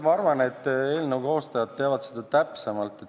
Ma arvan, et eelnõu koostajad teavad seda täpsemalt.